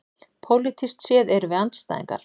Pólitískt séð erum við andstæðingar